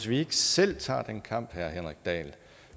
vi ikke selv tager den kamp herre henrik dahl